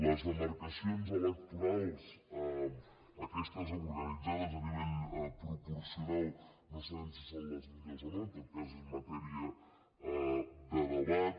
les demarcacions electorals aquestes organitzades a nivell proporcional no sabem si són les millors o no en tot cas és matèria de debat